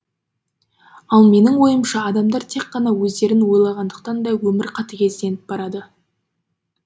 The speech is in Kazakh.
ал менің ойымша адамдар тек қана өздерін ойлағандықтан да өмір қатігезденіп барады